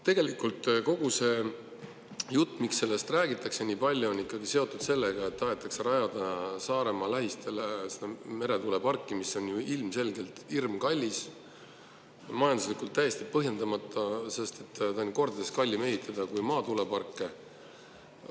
Tegelikult kogu seda juttu räägitakse selle pärast, et tahetakse rajada Saaremaa lähistele meretuuleparki, mis on ilmselgelt hirmkallis ja majanduslikult täiesti põhjendamata, sest seda on kordades kallim ehitada kui maatuuleparki.